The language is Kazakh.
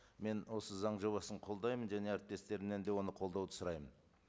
мен осы заң жобасын қолдаймын және әріптестерімнен де оны қолдауды сұраймын